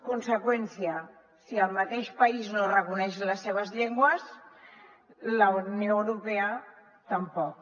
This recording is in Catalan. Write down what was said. conseqüència si el mateix país no reconeix les seves llengües la unió europea tampoc